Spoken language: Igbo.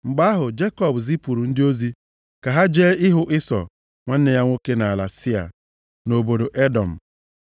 Mgbe ahụ, Jekọb zipụrụ ndị ozi ka ha jee hụ Ịsọ nwanne ya nwoke nʼala Sia, + 32:3 Ala Sịa nke dị nso iyi Jabọk, ga-emesịa bụrụ ala dị mkpa nʼoge ọchịchị eze Devid na Solomọn. \+xt Jen 14:6; 33:14,16\+xt* nʼobodo Edọm.